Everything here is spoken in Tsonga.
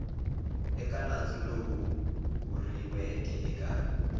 eka nandzu lowu vuriweke eka